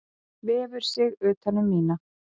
Vefur sig utan um mína.